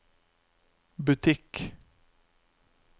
butikk